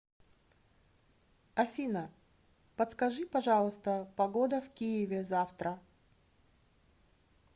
афина подскажи пожалуйста погода в киеве завтра